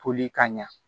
Toli ka ɲa